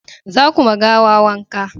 za ku ma gawa wanka!